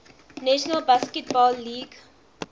national basketball league